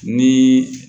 Ni